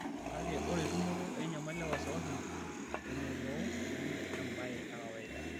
Kake ore tumoto enyamali e wasiwasi temoruao neme embae e kawaida.